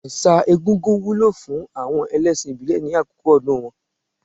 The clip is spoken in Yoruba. Ẹ̀sà egúngún wúlò fún àwọn ẹlẹ́ṣìn ìbílẹ̀ ní àkókò ọdún wọn.